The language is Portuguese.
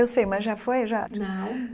Eu sei, mas já foi já? Não